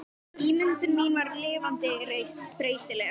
Ímyndun mín var lifandi, reist, breytileg.